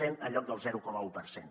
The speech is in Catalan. cent en lloc del zero coma un per cent